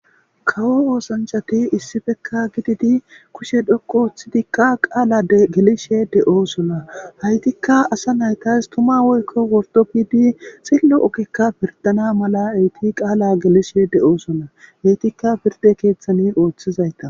kawo oosanchati issifekka gididi kushe dhoqo ooththidikka qaala gelishe de7osona haytikka asa naytas tuma woykko wordo bidi sillo okikka pirdana mala eyti qaala gelishe de7osona eytikka pirde keeththani ooththizayta